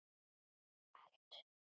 Allt sumar